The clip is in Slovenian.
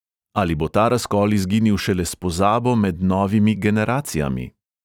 Ali bo ta razkol izginil šele s pozabo med novimi generacijami?